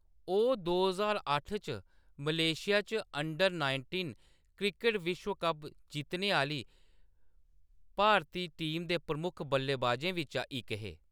ओह्‌‌ दो ज्हार अट्ठ च मलेशिया च अंडर-नाइटींन क्रिकट विश्व कप जित्तने आह्‌‌‌ली भारती टीम दे प्रमुख बल्लेबाजें बिच्चा इक हे।